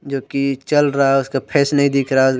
जो कि चल रहा है उसका फेस नहीं दिख रहा है।